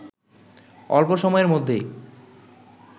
অল্প সময়ের মধ্যেই